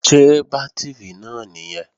Ṣé bátìrì náà nìyẹn?